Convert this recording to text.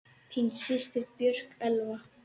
Þín systir, Björk Elfa.